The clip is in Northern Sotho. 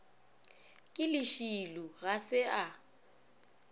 ke lešilo ga se a